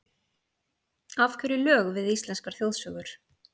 Af hverju lög við íslenskar þjóðsögur?